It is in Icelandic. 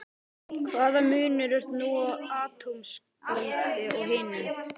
Hvaða munur er nú á atómskáldi og hinum?